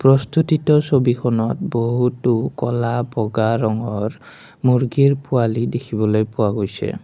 প্ৰস্তুতিত ছবিখনত বহুতো ক'লা বগা ৰঙৰ মূৰ্গীৰ পোৱালি দেখিবলৈ পোৱা গৈছে।